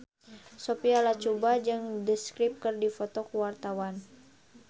Sophia Latjuba jeung The Script keur dipoto ku wartawan